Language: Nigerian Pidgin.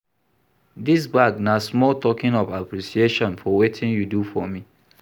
Dis bag na small token of appreciation for wetin you do for me